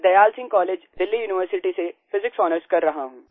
मैं Dayal Singh college Delhi university से physics honours कर रहा हूँ